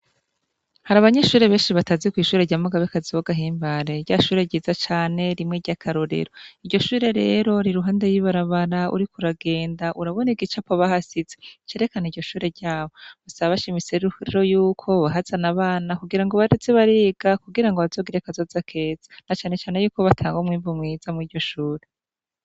Hari abanyishure benshi batazi kw'ishure ryamuga bekaziogahimbare rya shure ryiza cane rimwe ry'akarorero iryo shure rero ri ruhande yibarabara uri kouragenda urabona igica pobahasize cerekana iryo shure ryabo busabasha imise rhrero yuko bahazana abana kugira ngo bareze bariga kugira ngo bazogire akazoza akeza na canecane yuko batanga umwempu mweza mu iryo shura.